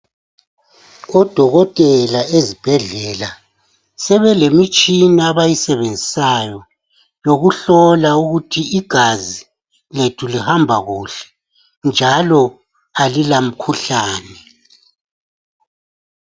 Odokotela ezibhedlela sebelemitshina abayisebenzisayo yokuhlola ukuthi igazi lethu lihamba kuhle njalo alila mkhuhlane.